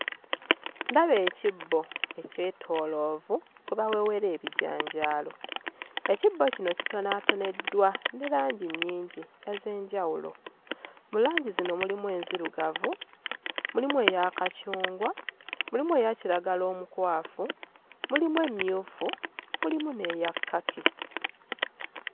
Ndaba ekibbo ekyetooloovu kwe bawewera ebijanjaalo ekibbo kino kitonaatoneddwa ne langi nnyingi ez'enjawulo mu langi zino mulimu enzirugavu, mulimu eya kacungwa, mulimu eya kiragala omukwafu, mulimu emmyufu mulimu n'eya kkaki.